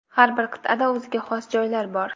Har bir qit’ada o‘ziga xos joylar bor.